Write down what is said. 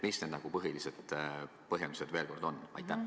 Mis need põhilised põhjendused on?